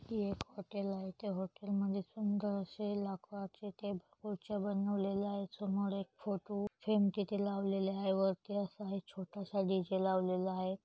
ही एक हॉटेल आहे. त्या हॉटेल मधे सुंदर अशे लाकु आखे च्या खुर्च्या बनवलेल्या आहे. समोर एक फोटू फेम तिथं लावलेला हाय. वरती असा छोटासा डी_जे लावलेला हाय.